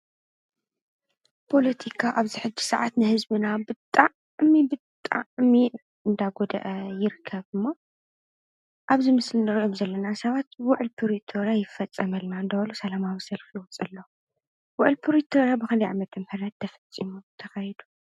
ጶሎቲካ ኣብዚ ሕዲ ሰዓት ነሕዝቢና ብጣዕ ሚ ብጣዕ ሚዕ እንዳጐድአ ይርከብ እሞ ኣብዚ ምስልሩዕም ዘለና ሰባት ውዕልፑሪተረ ይፈጸ መልና እንዳሃሉ ሰለማ ኣብሰልፍልወፅ ለዉ ውዕልፑሪቶረ ብኽልዕ መት ም ህረት ተፈጺሙ ተኸይዱ።